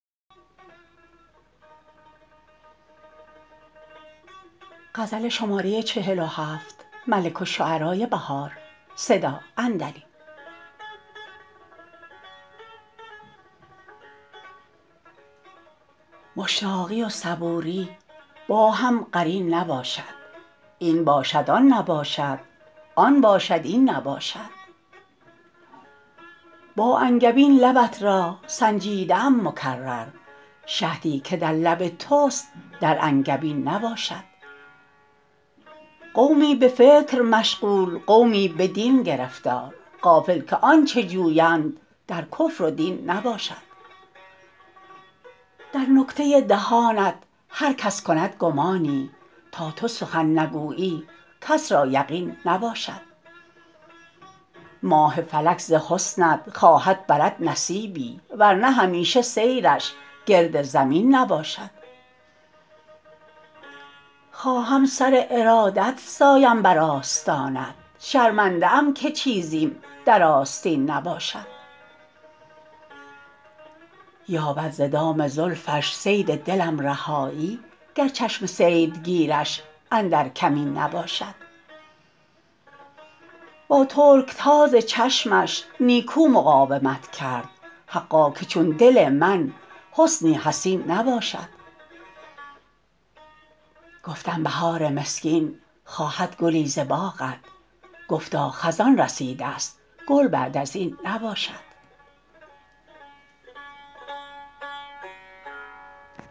مشتاقی و صبوری با هم قرین نباشد این باشد آن نباشد آن باشد این نباشد با انگبین لبت را سنجیده ام مکرر شهدی که در لب توست در انگبین نباشد قومی به فکر مشغول قومی به دین گرفتار غافل که آنچه جویند در کفر و دین نباشد در نکته دهانت هر کس کند گمانی تا تو سخن نگویی کس را یقین نباشد ماه فلک ز حسنت خواهد برد نصیبی ورنه همیشه سیرش گرد زمین نباشد خواهم سر ارادت سایم بر آستانت شرمنده ام که چیزیم در آستین نباشد یابد ز دام زلفش صید دلم رهایی گر چشم صیدگیرش اندر کمین نباشد با ترکتاز چشمش نیکو مقاومت کرد حقا که چون دل من حصنی حصین نباشد گفتم بهار مسکین خواهد گلی ز باغت گفتا خزان رسیده است گل بعد از این نباشد